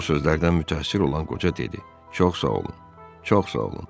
Bu sözlərdən mütəəssir olan qoca dedi: Çox sağ olun, çox sağ olun.